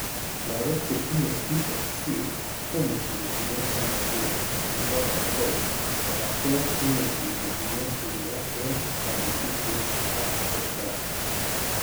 Lagok chetinye BHC komuchi kotinye ng'omnotet nebo kotugul kobate imuchi kotinye uindo eng' kanetishet ak atepto